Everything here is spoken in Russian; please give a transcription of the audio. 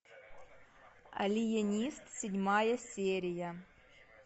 алиенист седьмая серия